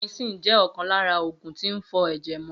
Gentamicin jẹ́ ọ̀kan lára oògùn tín fọ ẹ̀jẹ̀ mọ